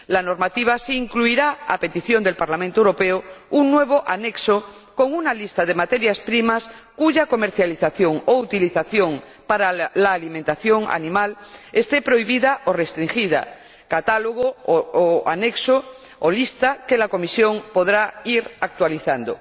La normativa sí incluirá, a petición del Parlamento Europeo, un nuevo anexo con una lista de materias primas cuya comercialización o utilización para la alimentación animal esté prohibida o restringida, catálogo —o anexo o lista— que la Comisión podrá ir actualizando.